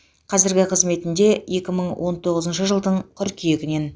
қазіргі қызметінде екі мың он тоғызыншы жылдың қыркүйегінен